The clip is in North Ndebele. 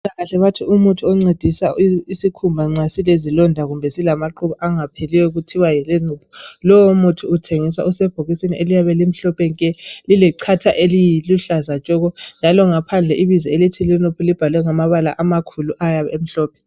mpilakahle bathi umuthi oncedisa isikhumba nxa silezilonda kumbe silamaqhubu angapheliyo kuthwa LMNOOP lowo muthi uthengiswa usebhokisini eliyabe limhlophe nke lilechatha eliluhlaza tshoko njalo ngaphandle ibizo elithi LMNOOP libhalwe ngamabala amakhulu ayabe emhlophe